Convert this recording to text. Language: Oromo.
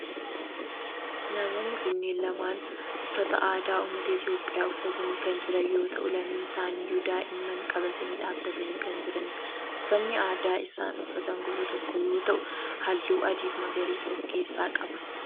Namoonni kunneen lamaan uffata aadaa ummata Itiyoophiyaa uffatanii kan jiran yoo ta'u lameen isaaniyyuu daa'ima qabatanii dhaabbatanii kan jiranidha. Uffanni aadaa isaan uffatan gosa tokko yoo ta'u halluu adii fi magariisa of keessaa qaba